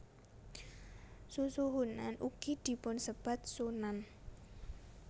Susuhunan ugi dipunsebat Sunan